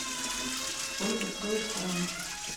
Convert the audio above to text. сколько стоит франк